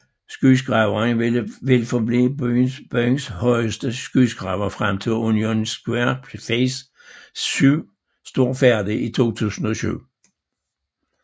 Skyskraberen vil forblive byens højeste skyskraber frem til Union Square Phase 7 står færdig i 2007